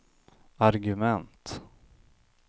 argument